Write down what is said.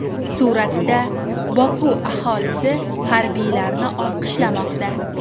Suratda: Boku aholisi harbiylarni olqishlamoqda.